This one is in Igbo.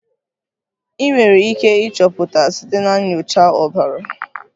Ị nwere ike ịchọpụta site na nyocha ọbara.